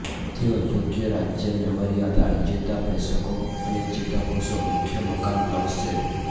તેઓ યોગ્ય રાજ્ય મેમરી આધાર ચેતાપ્રેષકો અને ચેતાકોષો મુખ્ય મકાન બ્લોક્સ છે